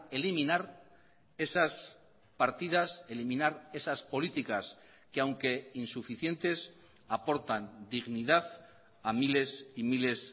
eliminar esas partidas eliminar esas políticas que aunque insuficientes aportan dignidad a miles y miles